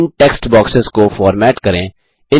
इन text boxes को format करें